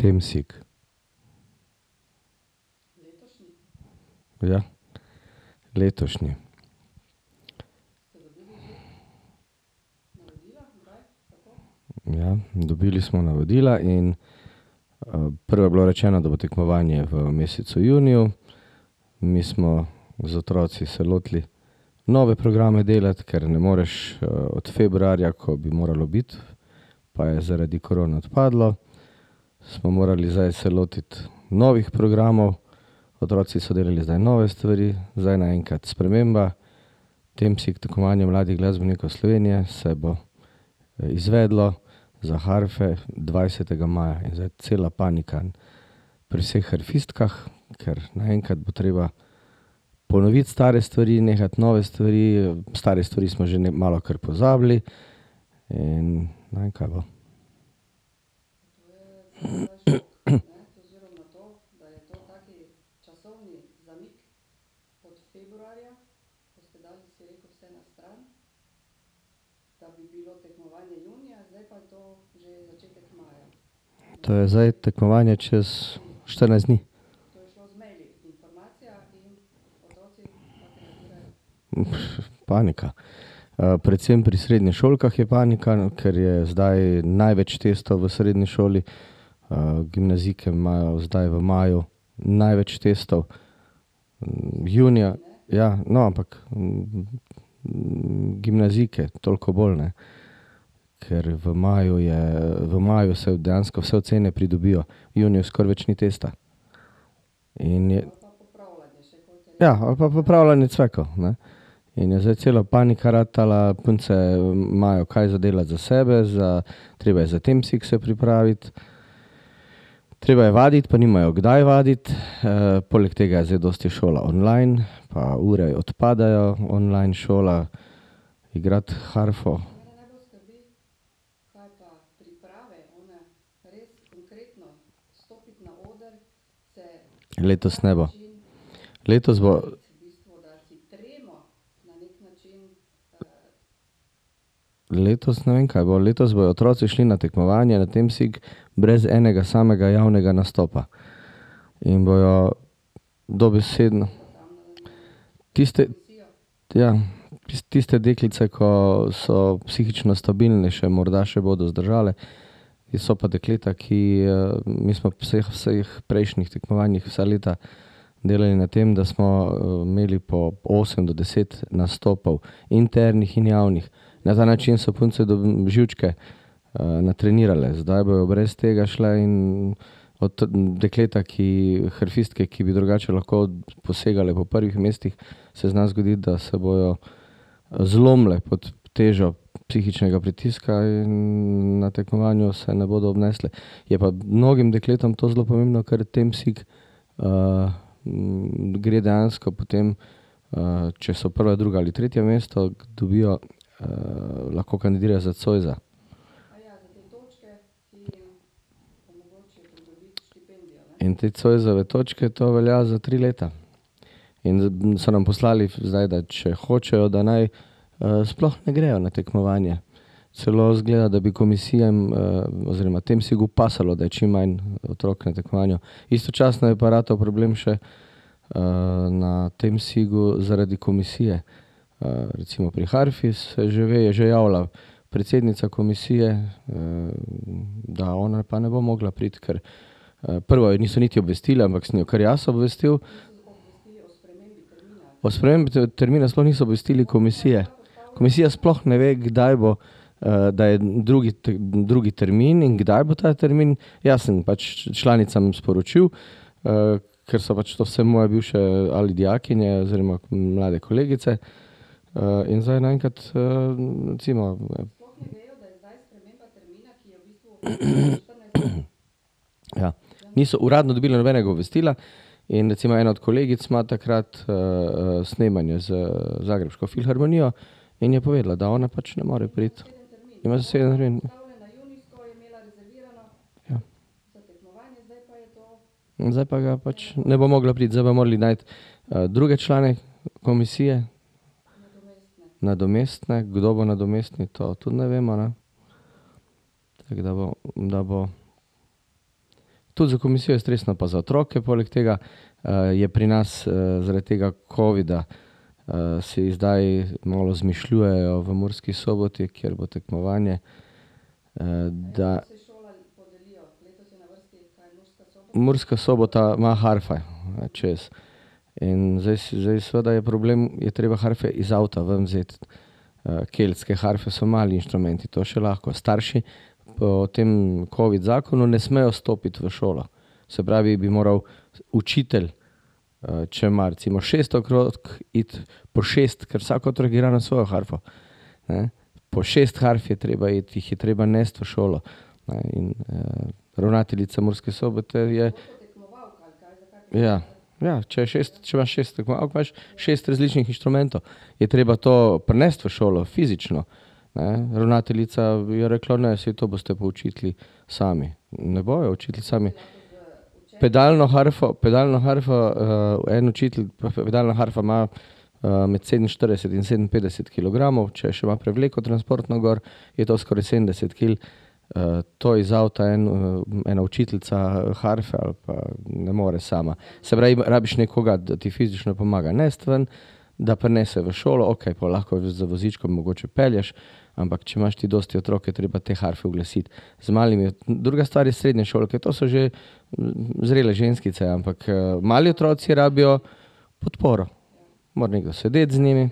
Temsig. Ja. Letošnji. Ja, dobili smo navodila in. prvo je bilo rečeno, da bo tekmovanje v mesecu juniju, mi smo z otroki se lotili nove programe delati, ker ne moreš, od februarja, ko bi moralo biti, pa je zaradi korone odpadlo, smo morali zdaj se lotiti novih programov. Otroci so delali zdaj nove stvari, zdaj naenkrat sprememba, Temsig, Tekmovanje mladih glasbenikov Slovenije se bo izvedlo za harfe dvajsetega maja. In zdaj cela panika pri vseh harfistkah, kar naenkrat bo treba ponoviti stare stvari, nehati nove stvari, stare stvari smo že malo kar pozabili. In ne vem, kaj bo. To je zdaj tekmovanje čez štirinajst dni. panika. predvsem pri srednješolkah je panika, ker je zdaj največ testov v srednji šoli. gimnazijke imajo zdaj v maju največ testov. junija ... Ja, no, ampak, gimnazijke toliko bolj, ne, ker v maju je, v maju se dejansko vse ocene pridobijo. V juniju skoraj več ni testa. In je ... Ja, ali pa popravljanje cvekov, ne. In je zdaj cela panika ratala. Punce imajo kaj za delati za sebe, za ... Treba je za Temsig se pripraviti. Treba je videti, pa nimajo kdaj vaditi, poleg tega je zdaj dosti šola online, pa ure odpadajo. Online šola, igrati harfo. Letos ne bo. Letos bo ... Letos ne vem, kaj bo. Letos bojo otroci šli na tekmovanje, na Temsig brez enega samega javnega nastopa. In bojo dobesedno ... Tiste ... Ja. Tiste deklice, ko so psihično stabilnejše, morda še bodo zdržale, so pa dekleta, ki, mi smo p vseh prejšnjih tekmovanjih vsa leta delali na tem, da smo, imeli po osem do deset nastopal, internih in javnih. Na ta način so punce živčke, natrenirale. Zdaj bojo brez tega šle in od, dekleta, ki ... Harfistke, ki, bi drugače lahko posegale po prvih mestih, se zna zgoditi, da se bojo zlomile pod težo psihičnega pritiska in na tekmovanju se ne bodo obnesle. Je pa mnogim dekletom to zelo pomembno, ker Temsig, gre dejansko potem, če so prva, druga ali tretje mesto, dobijo, lahko kandidirajo za zoisa. In te zoisove točke, to velja za tri leta. In so nam poslali zdaj, da če hočejo, da naj, sploh ne grejo na tekmovanje. Celo izgleda, da bi komisija oziroma Temsigu pasalo, da je čim manj otrok na tekmovanju. Istočasno je pa ratal problem še, na Temsigu zaradi komisije. recimo pri harfi se že ve, je že javila predsednica komisije, da ona pa ne bo mogla priti, ker, prvo je niso niti obvestili, ampak sem jo kar jaz obvestil. O spremembi termina sploh niso obvestili komisije. Komisija sploh ne ve, kdaj bo, da je drugi drugi termin in kdaj bo ta termin. Jaz sem pač članicam sporočil, ker so pač to vse moje bivše ali dijakinja oziroma mlade kolegice. in zdaj naenkrat, recimo ... Ja. Niso uradno dobile nobenega obvestila in recimo ena od kolegic ima takrat, snemanje z zagrebško filharmonijo in je povedala, da ona pač ne more priti. Ima zaseden termin. Ja. Zdaj pa ga pač ne bo mogla priti. Zdaj bojo mogli najti, druge člane komisije, nadomestne. Kdo bo nadomestni, to tudi ne vemo, ne. Tako da bo, da bo ... Tudi za komisijo je stresno pa za otroke. Poleg tega, je pri nas, zaradi tega covida, si zdaj malo izmišljujejo v Murski Soboti, kjer bo tekmovanje, da Murska Sobota ima harfe čez. In zdaj zdaj seveda je problem, je treba harfe iz avta ven vzeti. keltske harfe so mali instrumenti, to še lahko starši. Po tem covid zakonu ne smejo stopiti v šolo. Se pravi, bi morali učitelj, če ima recimo šest , iti po šest, ker vsak otrok igra na svojo harfo, ne. Po šest harf je treba iti, jih je treba nesti v šolo, ne, in, ravnateljica Murske Sobote je ... Ja. Ja, če je šest, če imaš šest tekmovalk, imaš šest različnih inštrumentov. Je treba to prinesti v šolo, fizično, ne. Ravnateljica je rekla: "Ne, saj to boste pa učitelji sami." Ne bojo učitelji sami. Pedalno harfo, pedalno harfo, en učitelj, pedalna harfa ima, med sedeminštirideset in sedeminpetdeset kilogramov. Če še ima prevleko transportno gor, je to skoraj sedemdeset kil. to iz avta en, ena učiteljica harfe ali pa ... Ne more sama. Se pravi, rabiš nekoga, da ti fizično pomaga nesti ven, da prinese v šolo. Okej, pol lahko z vozičkom mogoče pelješ, ampak če imaš ti dosti otrok, je treba te harfe uglasiti. Z malimi, druga stvar je srednješolke, to so že, zrele ženskice, ampak, mali otroci rabijo podporo. Mora nekdo sedeti z njimi.